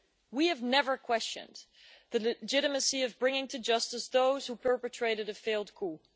We have never questioned the legitimacy of bringing to justice those who perpetrated a failed coup.